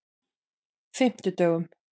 fimmtudögunum